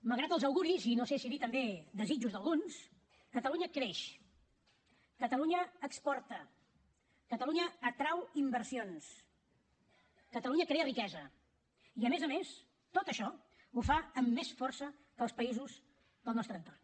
malgrat els auguris i no sé si dir també desitjos d’alguns catalunya creix catalunya exporta catalunya atrau inversions catalunya crea riquesa i a més a més tot això ho fa amb més força que els països del nostre entorn